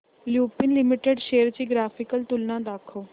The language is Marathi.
लुपिन लिमिटेड शेअर्स ची ग्राफिकल तुलना दाखव